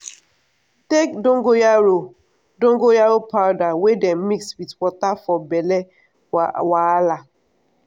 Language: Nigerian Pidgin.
take dongoyaro dongoyaro powder wey dem mix with water for belle wahala.